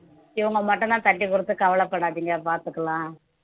இவங்க மட்டும்தான் தட்டி கொடுத்து கவலைப்படாதீங்க பார்த்துக்கலாம்